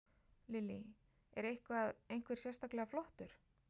Lillý: Er eitthvað, einhver sérstaklega flottur?